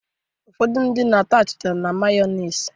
Ụfọdụ ndị mmadụ na-ata achịcha na mayọnis